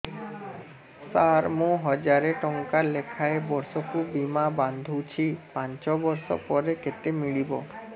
ସାର ମୁଁ ହଜାରେ ଟଂକା ଲେଖାଏଁ ବର୍ଷକୁ ବୀମା ବାଂଧୁଛି ପାଞ୍ଚ ବର୍ଷ ପରେ କେତେ ମିଳିବ